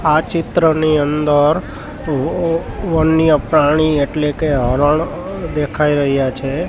આ ચિત્રની અંદર વવ-વન્ય પ્રાણી એટલે કે હરણ દેખાઈ રહ્યા છે.